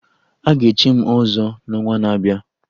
Aga echi m ọzọ n'ọnwa na-abịa